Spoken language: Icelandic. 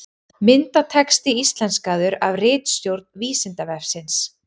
Myndatexti íslenskaður af ritstjórn Vísindavefsins.